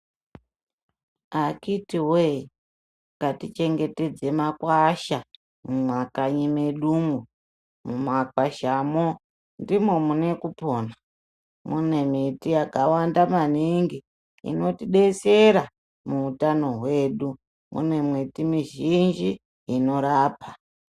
Akhiti woye ngatichengetedze makwasha mumakanyi mwedumwo, mumakwashamwo ndimwo mune kupona, mune miti yakawanda maningi inotidetsera muutano hwedu, mune miti mizhinji inorapa.